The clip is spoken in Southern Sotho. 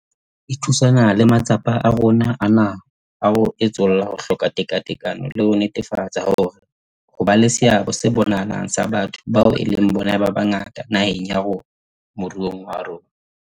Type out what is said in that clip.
E thusana le matsapa a rona a naha a ho etsolla ho hloka tekatekano le ho netefatsa hore ho be le seabo se bonahalang sa batho bao e leng bona ba bangata naheng ya rona moruong wa rona.